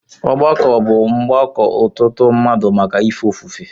Ọgbako bụ Mgbako ọtụtụ mmadụ màkà ife ofufe.